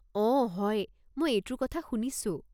অঁ হয়, মই এইটোৰ কথা শুনিছোঁ।